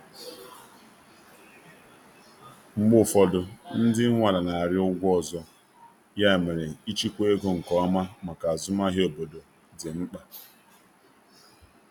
Mgbe ụfọdụ, ndị nwe ala na-arịọ ụgwọ ọzọ, ya mere ịchịkwa ego nke ọma maka azụmahịa obodo dị mkpa.